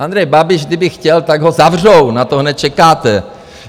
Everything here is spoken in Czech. Andrej Babiš, kdyby chtěl, tak ho zavřou, na to hned čekáte!